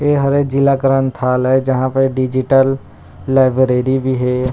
ए हरे जिला ग्रंथालय जहाँ पे डिजिटल लाइब्रेरी भी हे।